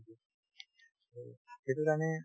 সেইটোৰ কাৰণে